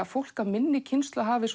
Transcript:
fólk af minni kynslóð hafi